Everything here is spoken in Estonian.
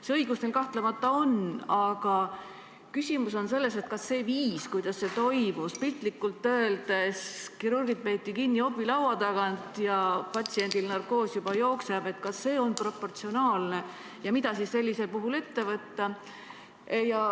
See õigus kapol kahtlemata on, aga küsimus on selles, kas see viis, kuidas see toimus – piltlikult öeldes peeti kirurgid kinni opilaua tagant ja patsiendil narkoos juba jooksis –, on proportsionaalne ja mida sellisel puhul ette võtta.